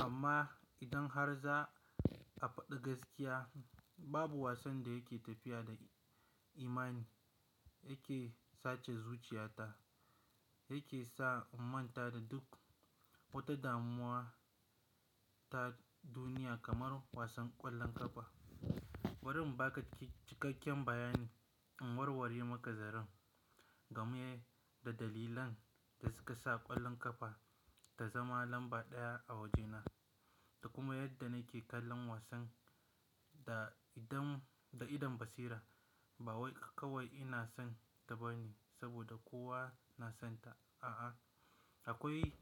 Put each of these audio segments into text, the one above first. Amma, idan har za a faɗi gaskiya, babu wasan da yake tafiya da imani, yake sace zuciyata, yake sa in manta da duk wata damuwa, ta duniya kamar wasan ƙwallon ƙafa. Bari in ba ka cikakken bayani, in warware maka zaren, game da dalilan da suka sa ƙwallon ƙafa ta zama lamba ɗaya a waje na, da kuma yadda nake kallon wasan da idon, da idon basira. Ba wai kawai ina son ta bane saboda kowa na son ta. A'a, akwai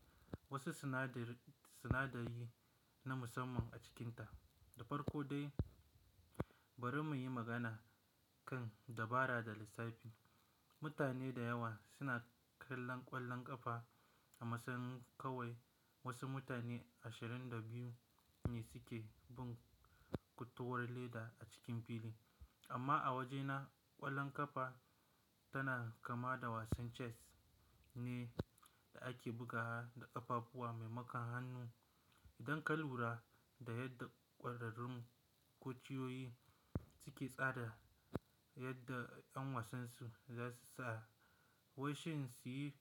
wasu sinadari, sinadari na musamman a cikinta. Da farko dai, bari muyi magana kan dabara da lissafi. Mutane da yawa suna kallon ƙwallon ƙafa, a masayin kawai wasu mutane ashirin da biyu ne suke bin kutuwur leda a cikin filin. Amma a waje na, ƙwallon ƙafa tana kama da wasan chess, ne, da ake bugawa da ƙafafuwa maimakon hannu. Idan ka lura, da yadda ƙwararrun kociyoyi suke tsara, yadda ƴan wasan su za su sa, wai shin su yi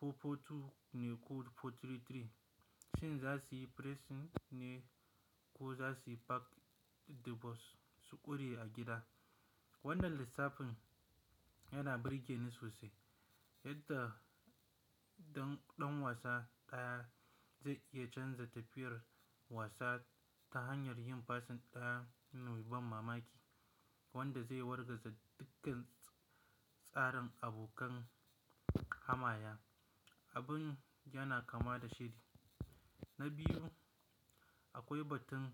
four-four-two ne ko four-three-three, shin za su yi pressing ne ko za su pack the box su ƙure a gida? Wannan lissafin, yana ɓirge ni sosai. Yadda dan, ɗan wasa ɗaya zai iya canza tafiyar wasa ta hanyar yin passing ɗaya, mai ban mamaki, wanda zai wargaza dukkan tsarin abokan hamaya. Abin yana kama da shedi. Na biyu, akwai batun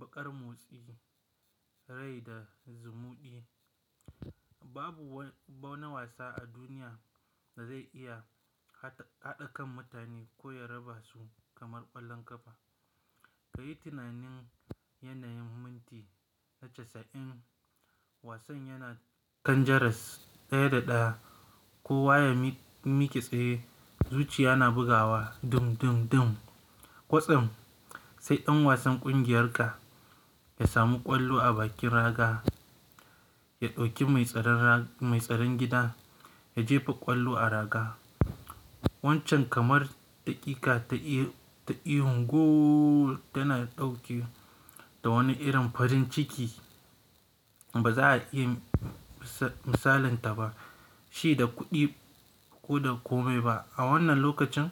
baƙar motsi, rai da zumuɗi. Babu wani, ba wani wasa a duniya, da zai iya haɗa kan mutane, ko ya raba su, kamar ƙwallon ƙafa. Ka yi tunanin yanayin minti na casa'in wasan yana kan jaras ɗaya da ɗaya. Kowa ya miƙ, miƙe tsaye, zuciya na bugawa dum, dum, dum. Kwatsam, sai ɗan wasan ƙungiyarka, ya samu ƙwallo a bakin raga, ya ɗauki mai tsaron rag, mai tsaron gida, ya jefa ƙwallo a raga. Wancan kamar daƙiƙa ta i, ihun "goooool" tana ɗauke da wani irin farin ciki, ba za a iya misalanta ba, shi da kuɗi ko da komai ba. A wannan lokacin,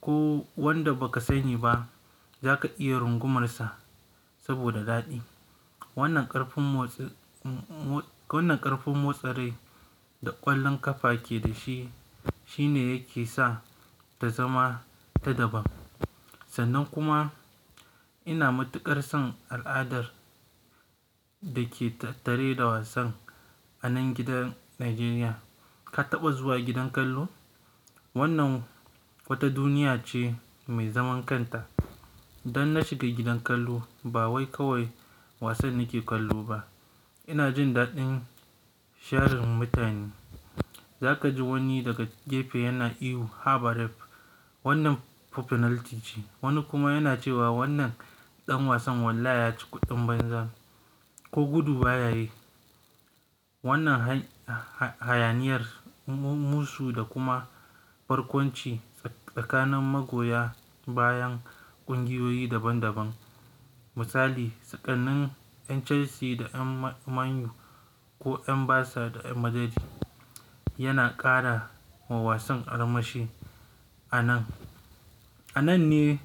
ko wanda ba ka sani ba, za ka iya rungumarsa, saboda daɗi. Wannan ƙarfin motsi, mo, wannan ƙarfin motsa rai da ƙwallon ƙafa ke da shi, shine yake sa, ta zama ta daban. Sannan kuma ina matuƙar son al'adar da ke tattare da wasan, a nan gidan Najeriya. Ka taɓa zuwa gidan kallo? Wannan wata duniya ce mai zaman kanta. Dan in na shiga gidan kallo, ba wai kawai wasan nake kallo ba. Ina jin daɗin sharin mutane. Za ka ji wani daga gefe yana ihu "haba ref!" wannan fa penalty ce. Wani kuma yana cewa wannan ɗan wasan wallahi ya ci kuɗin banza, ko gudu ba ya yi. Wannan han, hayaniyar, musu da kuma barkonci tsakanin magoya bayan ƙungiyoyi daban daban, Misali, tsakanin ƴan Chelsea da ƴan Man Utd, ko ƴan Barca da ƴan Madrid, yana ƙara wa wasan armashi a nan. A nan ne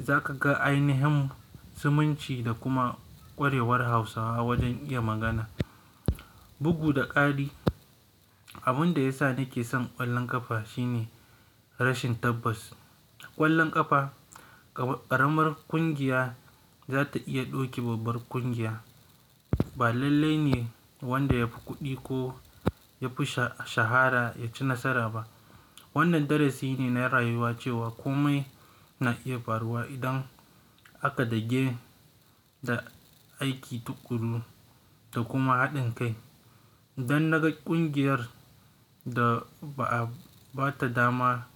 za ka ga ainahin zumunci, da kuma ƙwarewar Hausawa wajen iya magana. Bugu da ƙari, abin da ya sa nake son ƙwallon ƙafa shine, rashin tabbas. Ƙwallon ƙafa, ƙaramar ƙungiya za ta iya doki babbar ƙungiya. Ba lallai ne wanda ya fi kuɗi ko ya fi sha, shahara ya ci nasara ba. Wannan darasi ne na rayuwa cewa komai na iya faruwa, idan aka dage da aiki tuƙuru, da kuma haɗin kai. Dan na ga ƙungiyar, da ba a bata dama.